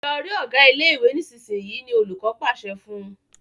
Lọ rí Ọgá ilé ìwé nísìsiyìí! ni olùkó pàṣẹ fún